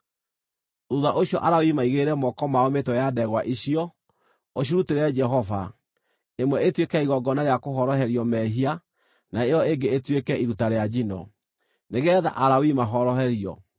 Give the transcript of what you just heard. “Thuutha ũcio Alawii maigĩrĩre moko mao mĩtwe ya ndegwa icio, ũcirutĩre Jehova, ĩmwe ĩtuĩke ya igongona rĩa kũhoroherio mehia na ĩyo ĩngĩ ĩtuĩke iruta rĩa njino, nĩgeetha Alawii mahoroherio.